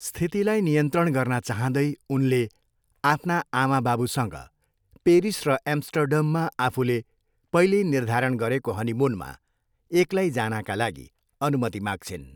स्थितिलाई नियन्त्रण गर्न चाहँदै उनले आफ्ना आमाबाबुसँग पेरिस र एम्स्टर्डममा आफूले पहिल्यै निर्धारण गरेको हनिमुनमा एक्लै जानाका लागि अनुमति माग्छिन्।